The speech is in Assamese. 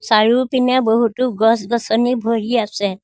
চাৰিওপিনে বহুতো গছ-গছনি ভৰি আছে।